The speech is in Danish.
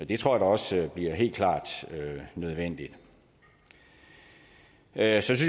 det tror jeg også bliver helt klart nødvendigt jeg synes